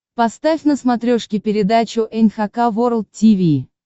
поставь на смотрешке передачу эн эйч кей волд ти ви